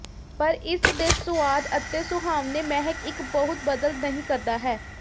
ਪਰ ਇਸ ਦੇ ਸੁਆਦ ਅਤੇ ਸੁਹਾਵਣੇ ਮਹਿਕ ਇੱਕ ਬਹੁਤ ਬਦਲ ਨਹੀ ਕਰਦਾ ਹੈ